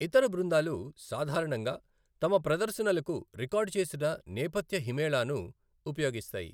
ఇతర బృందాలు సాధారణంగా తమ ప్రదర్శనలకు రికార్డ్ చేసిన నేపథ్య హిమేళాను ఉపయోగిస్తాయి.